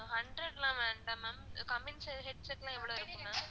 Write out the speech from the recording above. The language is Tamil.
அஹ் hundred லான் வேணாம் ma'am headset லான் எவ்ளோ இருக்கு ma'am